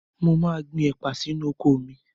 Mo máa gbin ẹ̀pà sínú oko mi